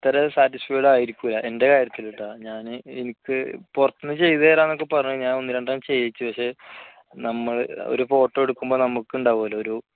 അത്ര satisfied ആയിരിക്കില്ല എൻറെ കാര്യത്തിൽ കേട്ടോ ഞാന് എനിക്ക് പുറത്തുനിന്ന് ചെയ്തു തരാമെന്ന് ഒക്കെ പറഞ്ഞു. ഞാൻ ഒന്ന് രണ്ട് എണ്ണം ചെയ്യിച്ചു പക്ഷേ നമ്മൾ ഒരു ഫോട്ടോ എടുക്കുമ്പോൾ നമുക്കുണ്ടാവുംമല്ലോ ഒരു